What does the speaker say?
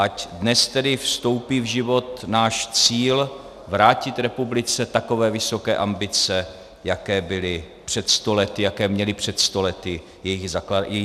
Ať dnes tedy vstoupí v život náš cíl vrátit republice takové vysoké ambice, jaké byly před sto lety, jaké měli před sto lety její zakladatelé.